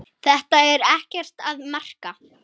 Þetta er ekkert að marka.